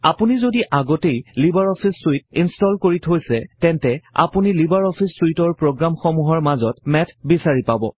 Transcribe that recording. আপুনি যদি আগতেই লিবাৰ অফিচ চুইট ইনষ্টল কৰি থৈছে তেন্তে আপুনি লিবাৰ অফিচ চুইটৰ প্ৰগ্ৰামসমূহৰ মাজত মেথ বিছাৰি পাব